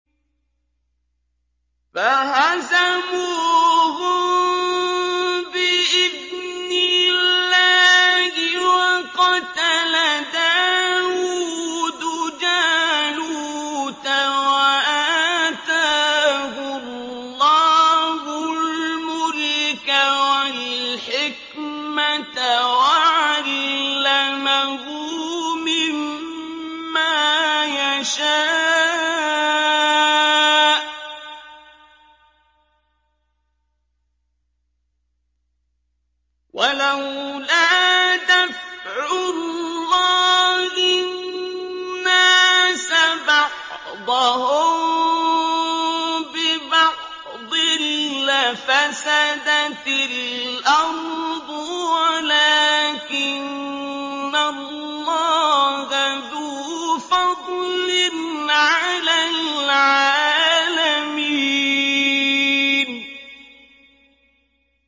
فَهَزَمُوهُم بِإِذْنِ اللَّهِ وَقَتَلَ دَاوُودُ جَالُوتَ وَآتَاهُ اللَّهُ الْمُلْكَ وَالْحِكْمَةَ وَعَلَّمَهُ مِمَّا يَشَاءُ ۗ وَلَوْلَا دَفْعُ اللَّهِ النَّاسَ بَعْضَهُم بِبَعْضٍ لَّفَسَدَتِ الْأَرْضُ وَلَٰكِنَّ اللَّهَ ذُو فَضْلٍ عَلَى الْعَالَمِينَ